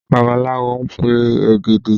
Babaláwo ń pe ògèdè